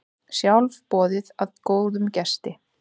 Sjálfboðið er góðum gesti.